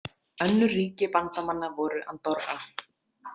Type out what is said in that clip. Önnur ríki bandamanna voru Andorra.